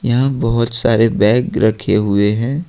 यहां बहुत सारे बैग रखे हुए हैं।